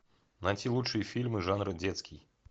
найти лучшие фильмы жанра детский